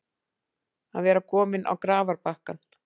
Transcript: Að vera kominn á grafarbakkann